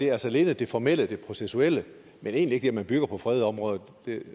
er altså alene det formelle det processuelle men egentlig ikke det at man bygger på fredede områder